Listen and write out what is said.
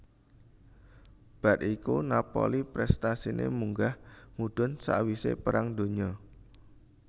Bar iku Napoli prestasine munggah mudhun sakwise Perang Donya